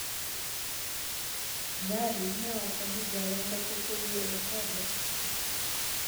Zari ne owacho ni jawendo pok owuoyo kode